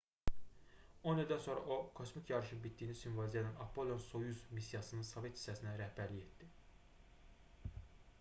on ildən sonra o kosmik yarışın bitdiyini simvolizə edən apollon-soyuz missiyasının sovet hissəsinə rəhbərlik etdi